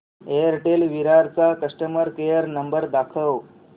Airtel Virar चा customer care number दाखव